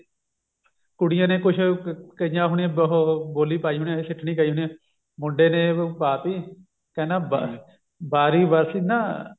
ਕੁੜੀਆਂ ਨੇ ਕੁਛ ਗਈਆਂ ਹੋਣੀਆ ਉਹ ਬੋਲੀ ਪਾਈ ਹੋਣੀ ਸਿੱਠਨੀ ਪਾਈ ਹੋਣੀ ਸਿੱਠਨੀ ਪਾਈ ਹੋਣੀ ਮੁੰਡੇ ਨੇ ਪਾਤੀ ਕਹਿੰਦਾ ਬਾਰੀ ਬਰਸੀ ਨਾ